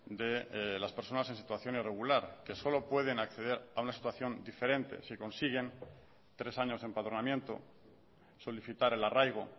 de las personas en situación irregular que solo pueden acceder a una situación diferente si consiguen tres años de empadronamiento solicitar el arraigo